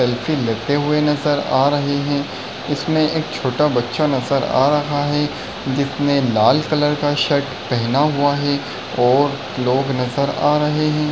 Selfie लेते हुए नजर आ रहे है इसमें एक छोटा बच्चा नजर आ रहा है जिसने लाल कलर का शर्ट पहना हुआ है और लोग नजर आ रहे है।